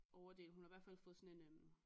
Overdel hun har i hvert fald fået sådan en øh